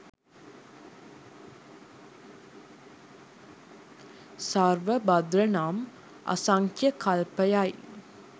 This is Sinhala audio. සර්ව භද්‍ර නම් අසංඛ්‍ය කල්පයයි.